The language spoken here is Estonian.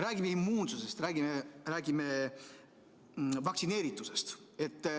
Räägime immuunsusest, räägime vaktsineeritusest.